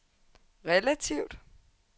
relativt